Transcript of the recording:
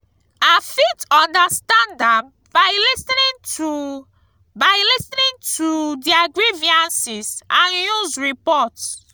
i fit understand am by lis ten ing to by lis ten ing to their grievances and news reports.